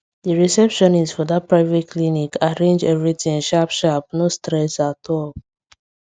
the receptionist for that private clinic arrange everything sharp sharp no stress at all